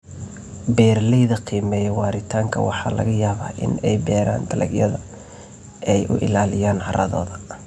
Beeralayda qiimeeya waaritaanka waxa laga yaabaa in ay beeraan dalagyada ay u ilaaliyaan carradooda.